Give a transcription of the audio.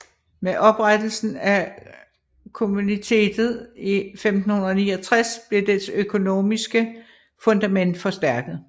Med oprettelsen af Kommunitetet i 1569 blev dets økonomiske fundament forstærket